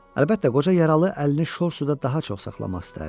Əlbəttə, qoca yaralı əlini şor suda daha çox saxlamaq istəyərdi.